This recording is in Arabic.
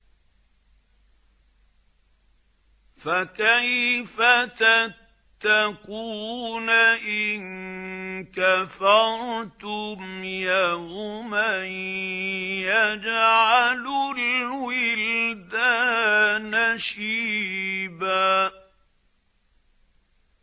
فَكَيْفَ تَتَّقُونَ إِن كَفَرْتُمْ يَوْمًا يَجْعَلُ الْوِلْدَانَ شِيبًا